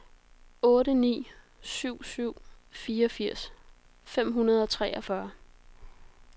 otte ni syv syv fireogfirs fem hundrede og treogfyrre